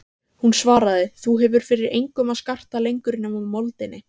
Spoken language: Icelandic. Hún svaraði: Þú hefur fyrir engum að skarta lengur nema moldinni.